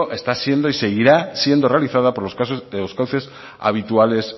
está siendo y seguirá siendo realizada por los cauces habituales